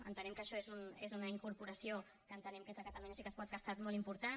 entenem que això és una incorporació que entenem que és de catalunya sí que es pot que ha estat molt important